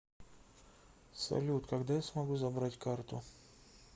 салют когда я смогу забрать карту